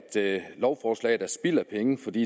lovforslaget er spild af penge fordi